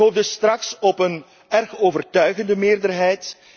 Ik hoop dus straks op een erg overtuigende meerderheid.